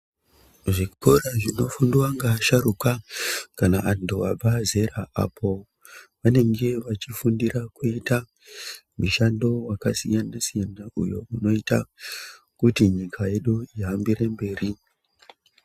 Zvikora zvinofundwa ngeasharukwa kana antu abva zera. Apovanenge vachifundira kuita mishando yakasiyana-siyana, uyo unoita kuti nyika yedu ihambire mberi.